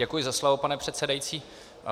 Děkuji za slovo, pane předsedající.